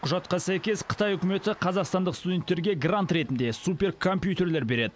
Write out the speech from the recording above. құжатқа сәйкес қытай үкіметі қазақстандық студенттерге грант ретінде суперкомпьютерлер береді